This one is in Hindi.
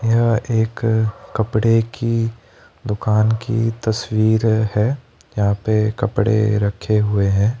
यह एक कपड़े की दुकान की तस्वीर है यहां पे कपड़े रखे हुए हैं।